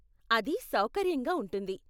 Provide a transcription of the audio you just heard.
అది సౌకర్యంగా ఉంటుంది.